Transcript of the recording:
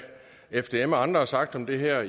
fdm og andre har sagt om det her